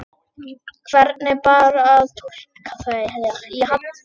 Hvernig bar að túlka þau?